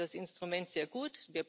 Ich finde das Instrument sehr gut.